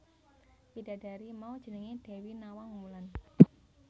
Widadari mau jenengé Dewi Nawang Wulan